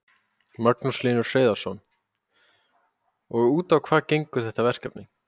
Magnús Hlynur Hreiðarsson: Og út á hvað gengur þetta verkefni?